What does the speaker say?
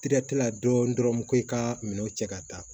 la dɔɔnin dɔrɔn ko i ka minɛn cɛ ka taa